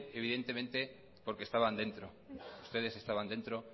evidentemente porque estaban dentro ustedes estaban dentro